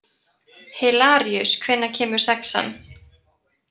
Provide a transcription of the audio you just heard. Hilaríus, hvenær kemur sexan?